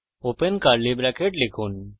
open curly bracket লিখুন {